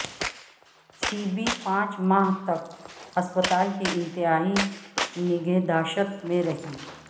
سیبی پانچ ماہ تک ہسپتال کے انتہائی نگہداشت میں رہیں